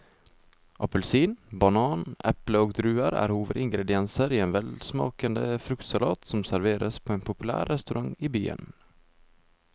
Appelsin, banan, eple og druer er hovedingredienser i en velsmakende fruktsalat som serveres på en populær restaurant i byen.